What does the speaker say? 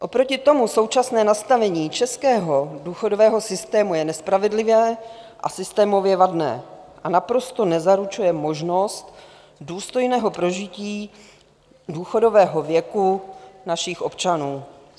Oproti tomu současné nastavení českého důchodového systému je nespravedlivé a systémově vadné a naprosto nezaručuje možnost důstojného prožití důchodového věku našich občanů.